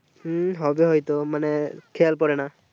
হুম হবে হয়তো মানে খেয়াল পড়েনা